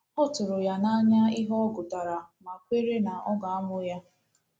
Ọ tụrụ ya n'anya ihe ọ gụtara ma kwere na ọ ga-amụ ya..